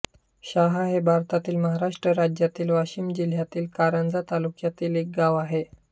शाहा हे भारतातील महाराष्ट्र राज्यातील वाशिम जिल्ह्यातील कारंजा तालुक्यातील एक गाव आहे